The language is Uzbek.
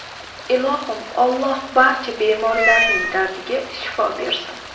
Ilohim, Alloh barcha bemorlarning dardiga shifo bersin.